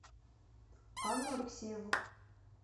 анну алексееву